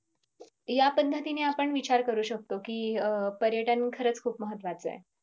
या पणहतीने आपण विचार करू शकतो कि पर्यटन खरच खूप महत्वाचे आहेत.